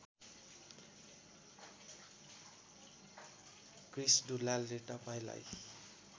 क्रिश दुलालले तपाईँलाई